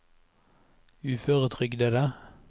uføretrygdede